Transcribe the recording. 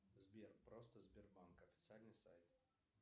сбер просто сбербанк официальный сайт